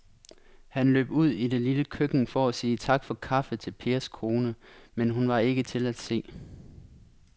Han løb ud i det lille køkken for at sige tak for kaffe til Pers kone, men hun var ikke til at se.